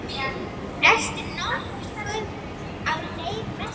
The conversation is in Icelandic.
Ertu nokkuð á leið vestur?